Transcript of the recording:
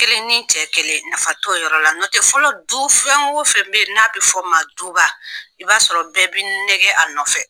N Kelen ni n cɛ kelen , nafa t'o yɔrɔ la , nɔtɛ fɔlɔ, du fɛn o fɛn bɛ yen, n'a bɛ f'o o ma duba i b'a sɔrɔ bɛɛ bɛ nɛgɛ a nɔfɛ!